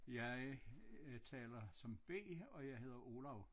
Jeg taler som B og jeg hedder Olav